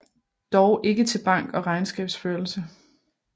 Dog ikke til bank og regnskabsførelse